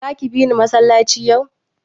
Zaki bini masallaci yau?